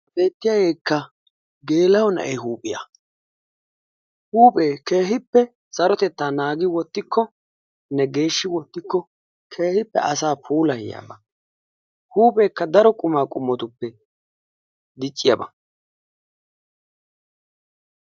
beetiyaageekka geela'o na'ee huuphiya. huuphphe keehippe sarotettanikka oottikko geeshshi wottikko keehippe asaa puulayiyaaba.